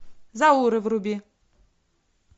зауры вруби